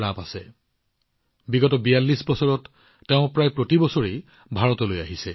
ভাৰতৰ প্ৰতি তেওঁৰ ইমান মৰম আছে যে যোৱা ৪২ বিয়াল্লিশ বছৰত তেওঁ প্ৰায় প্ৰতি বছৰে ভাৰতলৈ আহিছে